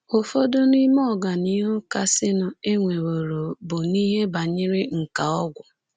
Ụfọdụ n’ime ọganihu kasịnụ e nweworo bụ n’ihe banyere nkà ọgwụ.